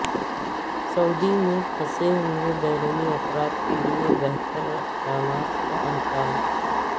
سعودی میں پھنسے بیرونی افراد کیلئے بہتر اقدامات کا امکان